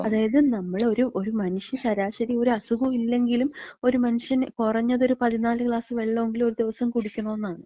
അതായത് നമ്മള് ഒരു മനുഷ്യ ശരാശരി ഒര് അസ്ഖും ഇല്ലെങ്കിലും ഒരു മന്ഷ്യൻ കൊറഞ്ഞതൊര് 14 ഗ്ലാസ് വെള്ളെങ്കിലും ഒരു ദിവസം കുടിക്കണെന്നാണ്.